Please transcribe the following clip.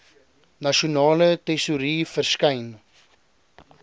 nasionale tesourie verskyn